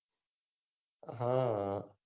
હા